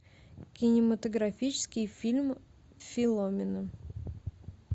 кинематографический фильм филомена